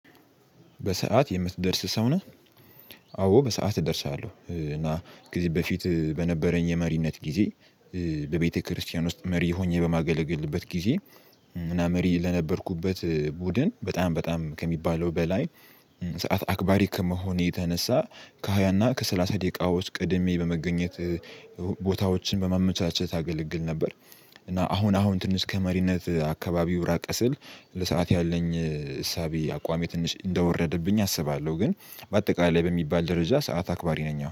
በሰአት የምትደርስ ሰው ነህ? አዎ በሰአት እደርሳለሁ። እና ጊዜ በፊት በነበረኝ የመሪነት ጊዜ በቤተክርስቲያን ውስጥ መሪ ሆኜ በማገለግልበት ጊዜ ምና መሪ ለነበርኩበት ቡድን በጣም በጣም ከሚባለው በላይ ሰዓት አክባሪ ከመሆኔ የተነሳ ከሃያና ከሰላሳ ደቂቃዎች ቀድሜ በመገኘት ቦታዎችን በማመቻቸት አገለግል ነበር። እና አሁን አሁን ትንሽ ከመሪነት አካባቢው ራቀ ስል ለሰአት ያለኝ እሳቤ አቋሜ ትንሽ እንደወረደብኝ አስባለሁ። ግን በአጠቃላይ በሚባል ደረጃ ሰዓት አክባሪ ነኝ አሁን